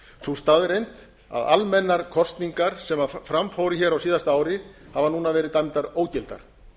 sú staðreynd að almennar kosningar sem fram fóru hér á síðasta ári hafa núna verið dæmdar ógildar